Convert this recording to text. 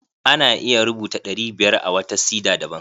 Ana iya rubuta ɗari biyar a wata sida daban.